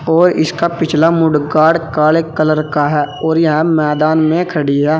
और इसका पिछला मोडगार्ड काले कलर का है और यह मैदान में खड़ी है।